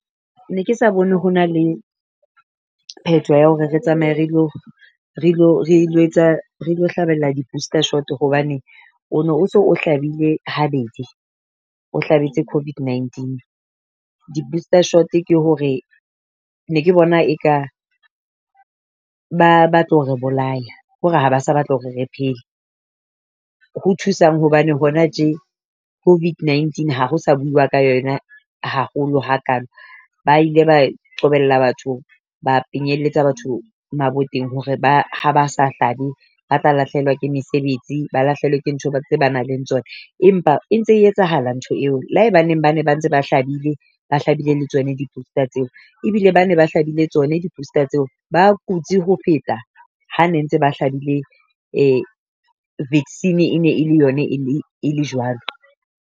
Ne ke sa bone ho na le pheto ya hore re tsamaye re lo re lo hlahbella di-booster shot hobane, o no so hlabile habedi, o hlabetse COVID-19. Di-booster shot ke hore ne ke bona e ka ba batla ho re bolaya kore ha ba sa batla hore re phele. Ho thusang hobane hona tje COVID-19 ha ho sa bua ka yona haholo hakalo ba ile ba qobella batho ba penyelletsa batho maboteng hore ba ha ba sa hlabe ba tla lahlehelwa ke mesebetsi. Ba lahlehelwa ke ntho tse nang le tsona, empa e ntse etsahala ntho eo. Le hae baneng ba ne ba ntse ba hlabile, ba hlabile le tsona di-booster tseo, ebile ba ne ba hlabile tsone di-booster tseo ba kutsi ho feta ha ne ntse ba hlabile vaccine e ne ele yona e le jwalo.